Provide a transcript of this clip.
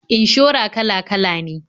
Inshora kala-kala ne.